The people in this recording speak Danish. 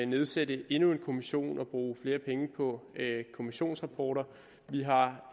nedsætte endnu en kommission og bruge flere penge på kommissionsrapporter vi har